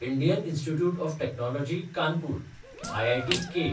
Indian institute of technology Kanpur (आयआयटीके)